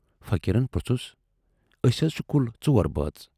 فقیٖرن پرُژھُس۔ ٲسۍ حض چھِ کُل ژور بٲژ۔